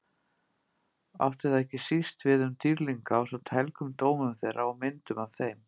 Átti það ekki síst við um dýrlinga ásamt helgum dómum þeirra og myndum af þeim.